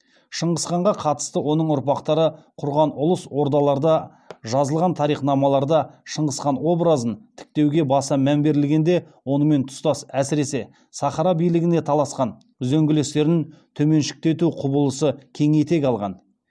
шыңғысханға қатысты оның ұрпақтары құрған ұлыс ордаларда жазылған тарихнамаларда шыңғысхан обыразын тіктеуге баса мән берілгенде онымен тұстас әсіресе сахара билігіне таласқан үзеңгілестерін төменшіктету құбылысы кең етек алған